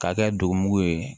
K'a kɛ dugumugu ye